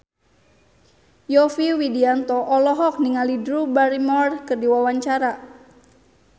Yovie Widianto olohok ningali Drew Barrymore keur diwawancara